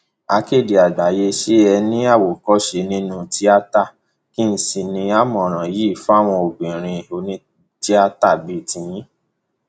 akéde àgbáyé ṣé ẹ ní àwòkọṣe nínú tíáta kí sì ni àmọràn yín fáwọn obìnrin onítìátà bíi yín